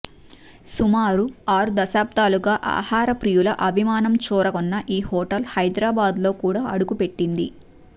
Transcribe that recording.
సుమారు ఆరు దశాబ్దాలుగా ఆహార ప్రియుల అభిమానం చూరగొన్న ఈ హోటల్ హైదరాబాద్లో కూడా అడుగుపెట్టింది